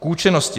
K účinnosti.